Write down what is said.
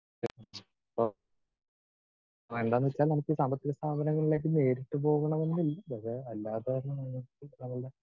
speaker 2 ഓ വേണ്ടെന്നു വെച്ചാൽ നമുക്ക് ഈ സാമ്പത്തിക സ്ഥാപനങ്ങളിലേക്ക് നേരിട്ട് പോകണമെന്നില്ലല്ലോ അല്ലാതെ തന്നെ നേരിട്ട് നമ്മളുടെ